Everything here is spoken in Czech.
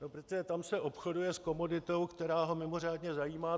No protože tam se obchoduje s komoditou, která ho mimořádně zajímá.